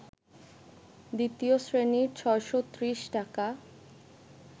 দ্বিতীয় শ্রেণী ৬৩০ টাকা